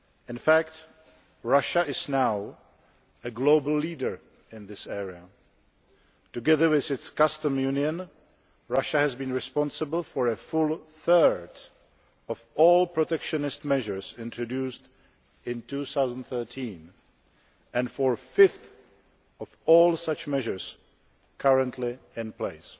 In fact, Russia is now a global leader in this area together with its customs union, Russia has been responsible for a full third of all protectionist measures introduced in 2013, and for a fifth of all such measures currently in place.